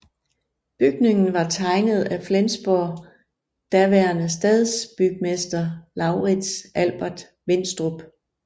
Bygningen var tegnet af Flensborg daværende stadsbygmester Laurits Albert Winstrup